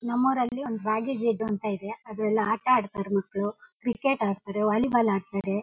ನಮ್ಮ್ ಊರಿನಲ್ಲಿ ಒಂದು ಅಂತ ಇದೆ ಅದರಲ್ಲಿ ಆಟ ಆಡ್ತಾರೆ ಮಕ್ಕಳು ಕ್ರಿಕೆಟ್ ಆಡ್ತಾರೆ ವಾಲಿಬಾಲ್ ಆಡ್ತಾರೆ.